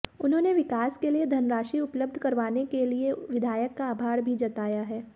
उन्होंने विकास के लिए धनराशी उपलब्ध करवाने के लिए विधायक का आभार भी जताया है